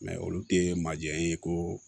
olu tɛ majɛn ye ko